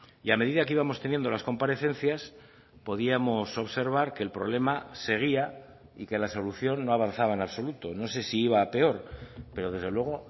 y a medida que íbamos teniendo las comparecencias podíamos observar que el problema seguía y que la solución no avanzaba en absoluto no sé si iba a peor pero desde luego